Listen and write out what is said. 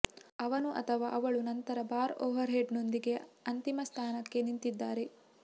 ಅವನು ಅಥವಾ ಅವಳು ನಂತರ ಬಾರ್ ಓವರ್ಹೆಡ್ನೊಂದಿಗೆ ಅಂತಿಮ ಸ್ಥಾನಕ್ಕೆ ನಿಂತಿದ್ದಾರೆ